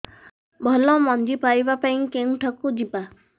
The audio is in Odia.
ଭଲ ମଞ୍ଜି ପାଇବା ପାଇଁ କେଉଁଠାକୁ ଯିବା